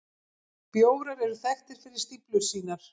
Bjórar eru þekktir fyrir stíflur sínar.